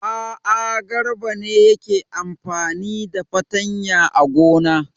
A'a, Garba ne yake amfani da fatanya a gona.